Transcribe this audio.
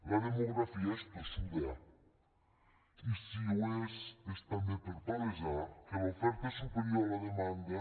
la demografia és tossuda i si ho és és també per palesar que l’oferta és superior a la demanda